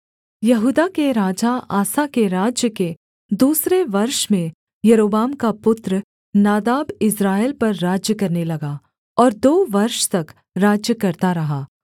यहूदा के राजा आसा के राज्य के दूसरे वर्ष में यारोबाम का पुत्र नादाब इस्राएल पर राज्य करने लगा और दो वर्ष तक राज्य करता रहा